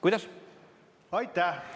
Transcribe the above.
Kuidas?